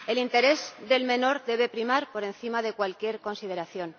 El interés del menor debe primar por encima de cualquier consideración.